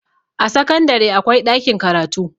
a sakandare akwai ɗakin karatu